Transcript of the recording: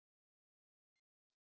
Hvað er þrír deilt með hálfum?